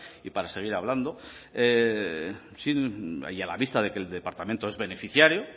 y para seguir hablando y a la vista de que el departamento es beneficiario